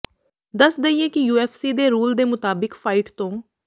ਦੱਸ ਦਈਏ ਕਿ ਯੂਐਫਸੀ ਦੇ ਰੂਲ ਦੇ ਮੁਤਾਬਿਕ ਫਾਇਟ ਤੋਂ